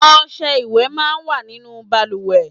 Ọṣẹ ìwẹ̀ máa ń wà nínú bàlùwẹ̀.